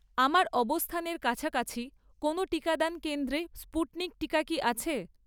আমার অবস্থানের কাছাকাছি কোনো টিকাদান কেন্দ্রে স্পুটনিক টিকা কি আছে?